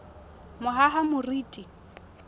mohahamoriti